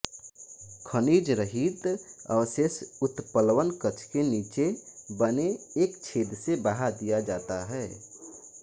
खनिजरहित अवशेष उत्प्लवनकक्ष के नीचे बने एक छेद से बहा दिया जाता है